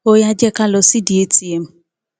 ó yá jẹ ká lọ sídìí atm